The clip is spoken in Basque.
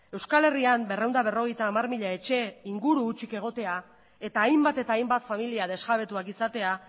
euskal herrian berrehun eta berrogeita hamar mila etxe inguru hutsik egotea eta hainbat eta hainbat familia desjabetuak izatea